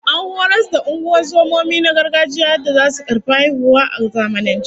An horas da ungozomomi na gargajiya yadda zasu karfi haihuwa a zamanance